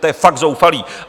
To je fakt zoufalé.